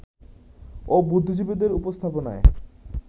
ও বুদ্ধিজীবীদের উপস্থাপনায়